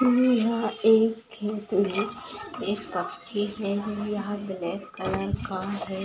हमे यहाँ एक एक पक्षी है यहाँ ब्लॅक कलर का है